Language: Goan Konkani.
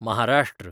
महाराष्ट्र